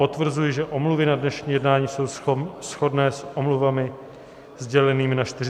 Potvrzuji, že omluvy na dnešní jednání jsou shodné s omluvami sdělenými na 43. schůzi.